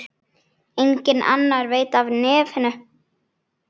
Enginn annar veit af nefinu.